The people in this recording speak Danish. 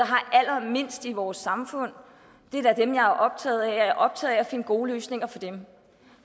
har allermindst i vores samfund det er da dem jeg er optaget af og jeg er optaget af at finde gode løsninger for dem